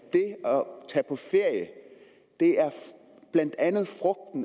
tage på ferie blandt andet